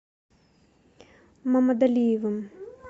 мамадалиевым